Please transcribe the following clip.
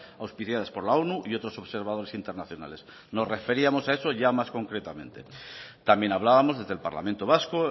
auspiciadas por la onu y otros observadores internacionales nos referíamos a eso ya más concretamente también hablábamos desde el parlamento vasco